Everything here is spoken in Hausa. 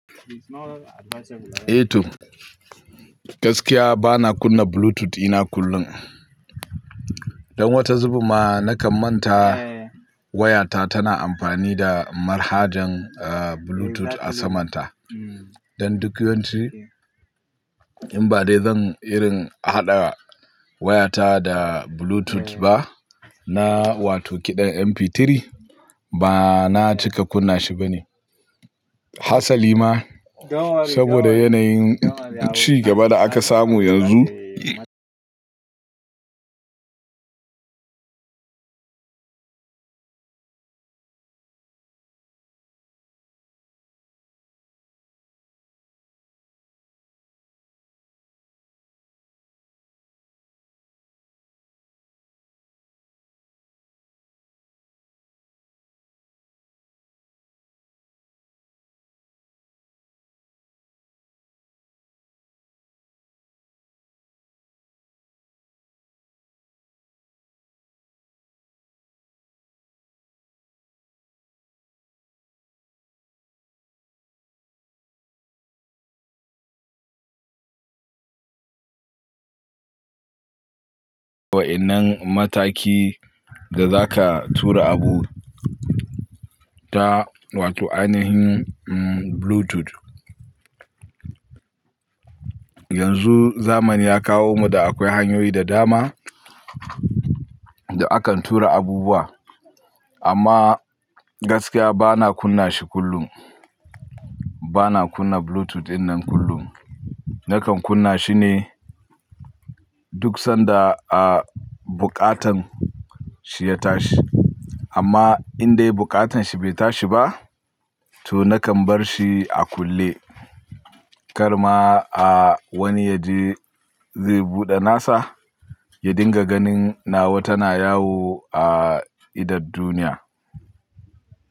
Eh to, gaskiya bana kunna Bluetooth ina kullum. Don wata zubinma nakan manta wayata tana amfani da manhajan, ah, Bluetooth a saman ta. Don duk yawanci in ba dai zan irin haɗa wayata da Bluetooth ba, na, wato kiɗan MP3 ba na cika kunna shi bane. Hatsali ma saboda yanayin ci gaba da aka samu yanzu. Wa'innan mataki da za ka tura abu ta, wato ainihin Bluetooth. Yanzu zamani ya kawo mu da akwai hanyoyi da dama da akan tura abubuwa. Amma gaskiya bana kunna shi kullum. Bana kunna Bluetooth dinnan kullum. Nakan kunna shi ne duk sanda, ah, buƙatan shi ya tashi. Amma in dai buƙatan shi bai tashi ba, to nakan bar shi a kulle. Kar ma, ah, wani ya je zai buɗe nasa ya dinga ganin nawa tana yawo a idan duniya.